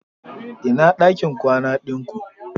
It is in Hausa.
Ina dakin kwana din ku?